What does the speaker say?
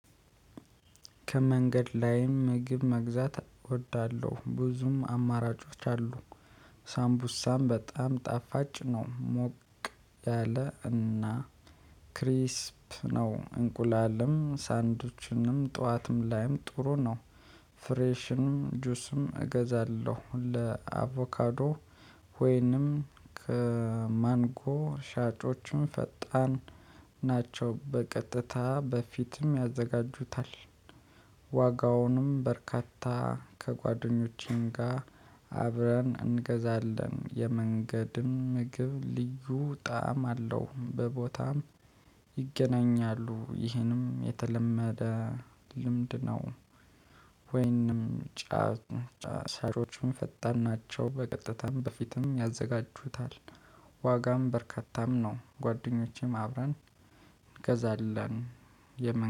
ከመንገድ ላይም ምግብ መግዛት እወዳለሁ ብዙም አማራጮች አሉ። ሳምቡሳም በጣም ጣፋጭ ነው። ሞቅ ያለ እና ክሪስፕ ነው። እንቁላልም ሳንድዊችንም ጠዋትም ላይም ጥሩ ነው። ፍሬሽንም ጁስም እገዛለሁ። ለአቮካዶ ወይንም ከማንጎ ሻጮቹም ፈጣን ናቸው በቀጥታ በፊትም ያዘጋጁታል። ዋጋውንም በርካታ ከጓደኞቼም ጋር አብረን እንገዛለን። የመንገድም ምግብ ልዩ ጣዕም አለው። በቦታም ይገናኛሉ ይህንም የተለመደ ልምድ ነው። ወይንም ጫ ጫ ሻጮቹም ፈጣን ናቸው በቀጥታም በፊትም ያዘጋጁታል። ዋጋም በርካታም ነው ጓደኞቼም አብረን እንገዛለን። የምን